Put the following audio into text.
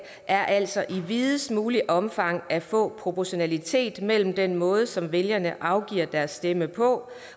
er altså i videst muligt omfang at få proportionalitet mellem den måde som vælgerne afgiver deres stemme på